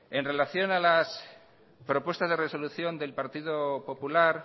en relación a las propuestas de resolución del partido popular